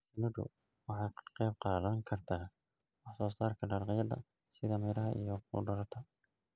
Shinnidu waxay ka qayb qaadan kartaa wax soo saarka dalagyada sida miraha iyo khudaarta.